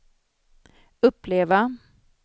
uppleva